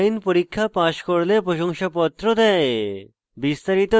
online পরীক্ষা pass করলে প্রশংসাপত্র দেয়